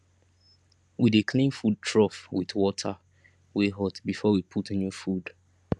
we dey clean food trough with water wey hot before we put new food